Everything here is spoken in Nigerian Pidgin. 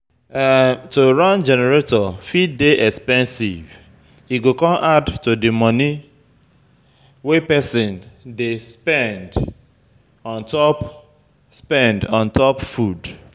To run generator fit dey expensive, e go come add to di money wey person dey spend ontop spend ontop food